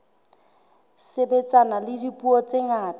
sebetsana le dipuo tse ngata